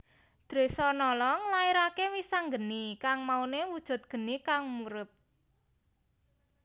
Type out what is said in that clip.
Dresanala nglairaké Wisanggeni kang mauné wujud geni kang murub